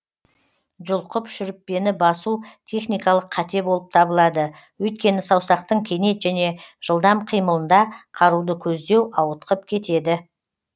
жұлқып шүріппені басу техникалық қате болып табылады өйткені саусақтың кенет және жылдам қимылында қаруды көздеу ауытқып кетеді